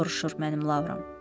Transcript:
soruşur mənim Lauram.